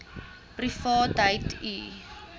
privaatheidu